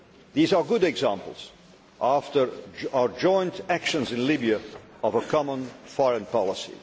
These are good examples, after our joint actions in Libya, of a common foreign